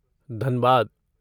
Dhanbad